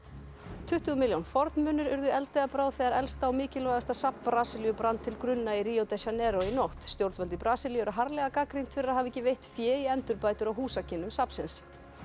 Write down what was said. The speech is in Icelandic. tuttugu milljón fornmunir urðu eldi að bráð þegar elsta og mikilvægasta safn Brasilíu brann til grunna í Rio de Janeiro í nótt stjórnvöld í Brasilíu eru harðlega gagnrýnd fyrir að hafa ekki veitt fé í endurbætur á húsakynnum safnsins